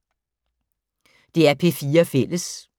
DR P4 Fælles